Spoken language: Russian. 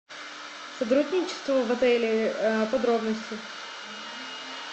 сотрудничество в отеле подробности